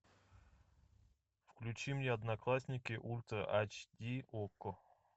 включи мне одноклассники ультра айч ди окко